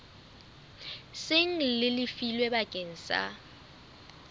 seng le lefilwe bakeng sa